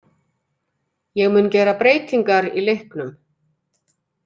Ég mun gera breytingar í leiknum.